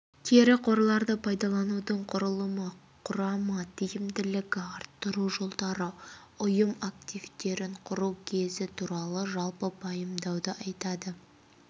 кері қорларды пайдаланудың құрылымы құрамы тиімділікті арттыру жолдары ұйым активтерін құру көзі туралы жалпы пайымдауды айтады